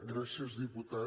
gràcies diputat